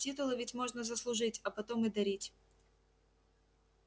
титулы ведь можно заслужить а потом и дарить